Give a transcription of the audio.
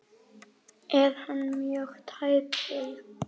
Er hann mjög tæpur?